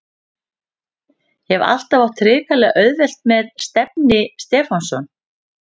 Hef alltaf átt hrikalega auðvelt með Stefni Stefánsson.